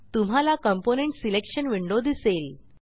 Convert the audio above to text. तुम्हाला component selection window दिसेल